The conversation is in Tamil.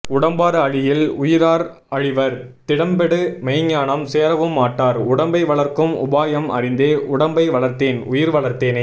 உடம்பார் அழியில் உயிரார் அழிவர் திடம்படு மெய்ஞானம் சேரவும் மாட்டர் உடம்பை வளர்க்கும் உபாயம் அறிந்தே உடம்பை வளர்த்தேன் உயிர்வளர்த்தேனே